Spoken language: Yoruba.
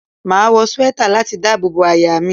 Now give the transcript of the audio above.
Máa wọ swẹ́tà láti dábò bo àyà mi.